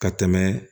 Ka tɛmɛ